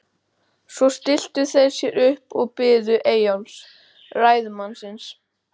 Svo stilltu þeir sér upp og biðu Eyjólfs, ræðumannsins.